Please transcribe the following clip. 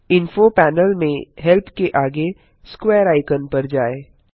info panel में help के आगे स्क्वेयर आइकन पर जाएँ